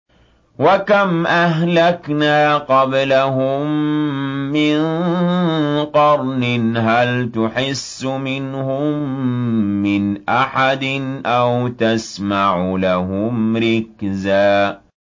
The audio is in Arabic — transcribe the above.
وَكَمْ أَهْلَكْنَا قَبْلَهُم مِّن قَرْنٍ هَلْ تُحِسُّ مِنْهُم مِّنْ أَحَدٍ أَوْ تَسْمَعُ لَهُمْ رِكْزًا